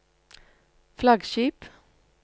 flaggskip